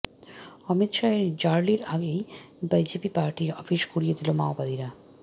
অমিত শাহের র্যালির আগেই বিজেপি পার্টি অফিস গুঁড়িয়ে দিল মাওবাদীরা